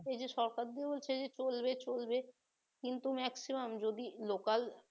এই সরকার যে বলছে চলবে চলবে কিন্তু maximum যদি লোকাল